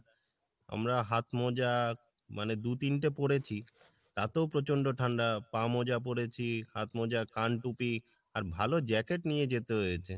আমরা হাত মোজা মানে দু তিনটে পড়েছি তাতেও প্রচন্ড ঠান্ডা পা মোজা পড়েছি, হাত মোজা, কান টুপি আর ভালো jacket নিয়ে যেতে হয়েছে।